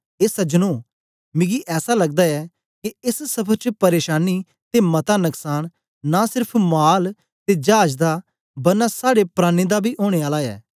ए सज्जनो मिकी ऐसा लगदा ऐ के एस सफर च प्रेशानी ते मता नकसान नां सेर्फ माल ते चाज दा बरना साड़े प्राणें दा बी ओनें आला ऐ